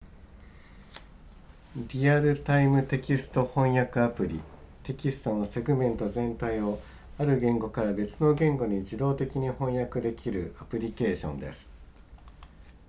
リアルタイムテキスト翻訳アプリテキストのセグメント全体をある言語から別の言語に自動的に翻訳できるアプリケーションです